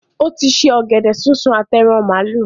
Ó ti se “ ọ̀gẹ̀dẹ̀ súnsun àti ẹran màálù”.